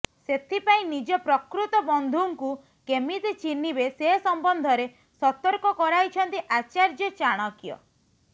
ସେଥିପାଇଁ ନିଜ ପ୍ରକୃତ ବନ୍ଧୁଙ୍କୁ କେମିତି ଚିହ୍ନିବେ ସେ ସମ୍ବନ୍ଧରେ ସତର୍କ କରାଇଛନ୍ତି ଆଚାର୍ଯ୍ୟ ଚାଣକ୍ୟ